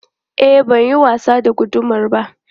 E, ban yin wasa da gudamar ba.